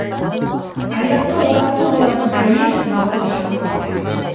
аяққа оралғы болатын әйел бала шаға бар